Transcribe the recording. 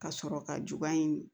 Ka sɔrɔ ka juba in